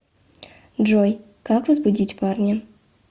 джой как возбудить парня